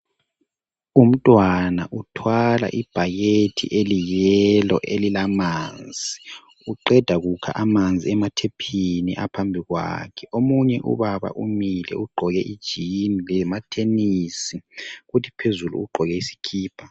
Umntwana uthwala ibhakethi eliyiyelo elilamanzi uqeda kukha amanzi emathephini aphambi kwakhe, omunye ubaba umile ugqoke ijini lamathenisi futhi phezulu ugqoke isikipa.